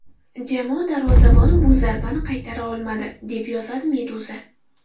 Jamoa darvozaboni bu zarbani qaytara olmadi, deb yozadi Meduza.